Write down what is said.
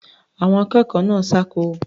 Àwọn akẹ́kọ̀ọ́ náà ṣáko.